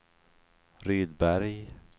Rydberg